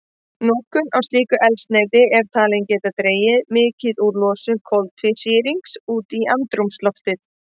Notkun á slíku eldsneyti er talin geta dregið mikið úr losun koltvísýrings út í andrúmsloftið.